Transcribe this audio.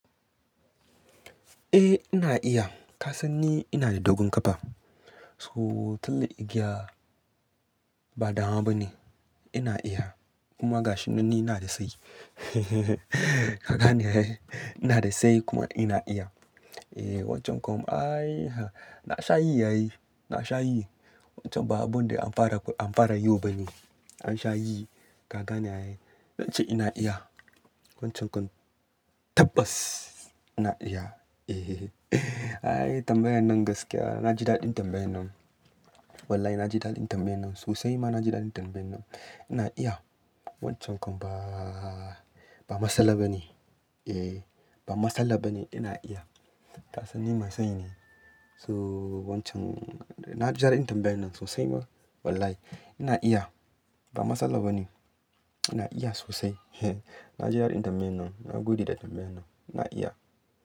Eh ina iya, ka san ni ina da dogon ƙafa. So, tilla igiya ba damuwa ba ne. Ina iya, kuma gashin nan ni ina da sayi. Kaga ne ai. Ina da sayi kuma ina iya. Eh wancan kwam ai na sha yi yayi, na sha yi. Wancan ba abun da an fara, an fara yo ba ne. An sha yi, kaga ne ai. Zan ce ina iya. Wancan kwam tabbas ina iya. Ai tambayar nan gaskiya na ji daɗin tambayar nan. Wallahi na ji daɗin tambayar nan sosai ma na ji daɗin tambayar nan. Ina iya, wancan kwam ba, ba matsala ba ne. Eh ba matsala ba ne ina iya. Ka san ni mai sayi ne. So wancan na ji daɗin tambayar nan sosai ma wallahi. Ina iya ba matsala ba ne. Ina iya sosai. Na ji daɗin tambayar nan. Na gode da tambayar nan. Ina iya.